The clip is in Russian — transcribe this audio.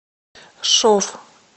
шов